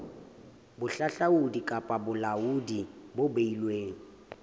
bohahlaudi kapa bolaodi bo beilweng